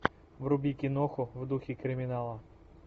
вруби киноху в духе криминала